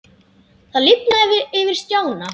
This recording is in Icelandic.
Það lifnaði yfir Stjána.